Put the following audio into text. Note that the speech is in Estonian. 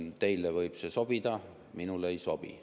Teile võib see sobida, minule ei sobi.